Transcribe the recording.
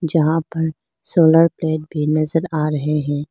यहां पर solar plate भी नजर रहे हैं।